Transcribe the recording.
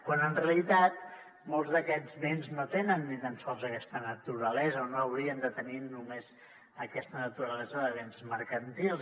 quan en realitat molts d’aquests béns no tenen ni tan sols aquesta naturalesa o no haurien de tenir només aquesta naturalesa de béns mercantils